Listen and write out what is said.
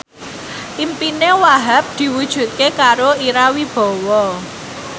impine Wahhab diwujudke karo Ira Wibowo